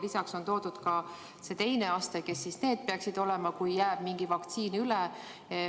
Lisaks on välja toodud ka see teine aste – need, kes peaksid saama vaktsiini siis, kui mingi doos jääb üle.